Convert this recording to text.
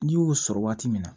N'i y'o sɔrɔ waati min na